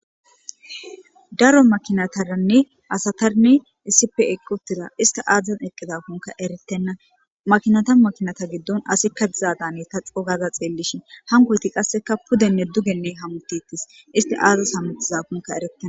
daro makinataranne asatarnne isife eqqotiza isti aadzezan eqqiza kunka eretenna makinata makinata giddon asikka dizadane ta xogaza xeellishin hankoyti qasseka pudenne dugenne hamuttettis isti aades hamuttiza kunka ereten